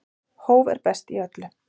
Hóf er best í öllu.